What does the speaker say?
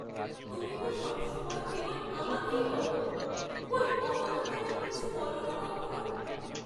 তুমি তো সবসময় কেবল আমাকেই বকো, কই অনঘাকে তো কিছু বলো না কখনও!